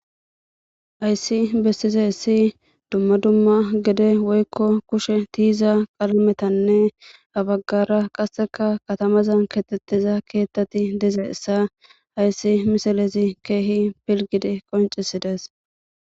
Hays Besizays dumma dumma geden woykko kushen tiyza qalametanne ha bagara qase katamazan kexetiza kethat dizaysa haya misilez keeh pilgid qoncides.